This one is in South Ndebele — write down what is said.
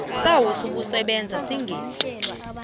sayo sokusebenza singeqi